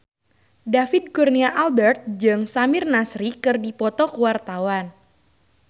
David Kurnia Albert jeung Samir Nasri keur dipoto ku wartawan